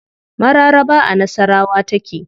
Mararaba a nasawara take.